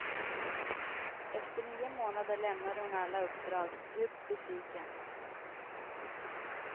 Efter nio månader lämnade hon alla uppdrag, djupt besviken.